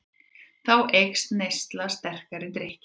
Þá eykst neysla sterkari drykkja.